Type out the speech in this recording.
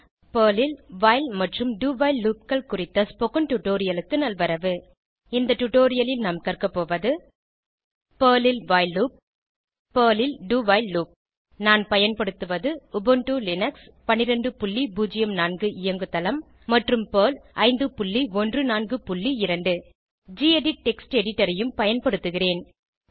Perl ல் while மற்றும் do while loopகள் குறித்த ஸ்போகன் டுடோரியலுக்கு நல்வரவு இந்த டுடோரியலில் நாம் கற்கபோவது பெர்ல் ல் வைல் லூப் பெர்ல் ல் do வைல் லூப் நான் பயன்படுத்துவது உபுண்டு லினக்ஸ் 1204 இயங்கு தளம் மற்றும் பெர்ல் 5142 கெடிட் டெக்ஸ்ட் எடிட்டர் ஐயும் பயன்படுத்துகிறேன்